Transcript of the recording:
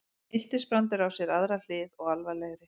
Miltisbrandur á sér aðra hlið og alvarlegri.